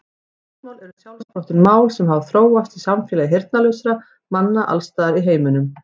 Táknmál eru sjálfsprottin mál sem hafa þróast í samfélagi heyrnarlausra manna alls staðar í heiminum.